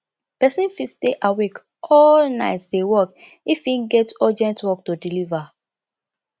persin fit stay awake all night de work if im get urgent work to deliever